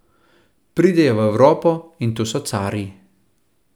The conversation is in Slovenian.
Pridejo v Evropo in tu so carji.